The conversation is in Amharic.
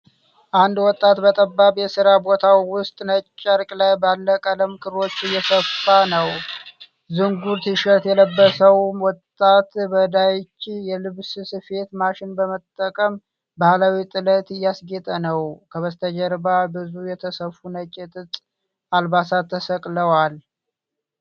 አንድ ወጣት በጠባብ የስራ ቦታው ውስጥ ነጭ ጨርቅ ላይ ባለ ቀለም ክሮች እየሰፋ ነው። ዝንጉር ቲሸርት የለበሰው ወጣት በዳይቺ የልብስ ስፌት ማሽን በመጠቀም ባህላዊ ጥለት እያስጌጠ ነው። ከበስተጀርባ ብዙ የተሰፉ ነጭ የጥጥ አልባሳት ተሰቅለዋል።